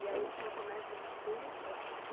E aí só começa a encher quando?